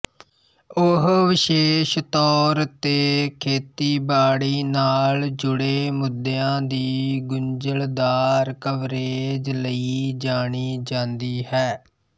ਉਹ ਵਿਸ਼ੇਸ਼ ਤੌਰ ਤੇ ਖੇਤੀਬਾੜੀ ਨਾਲ ਜੁੜੇ ਮੁੱਦਿਆਂ ਦੀ ਗੁੰਝਲਦਾਰ ਕਵਰੇਜ ਲਈ ਜਾਣੀ ਜਾਂਦੀ ਹੈ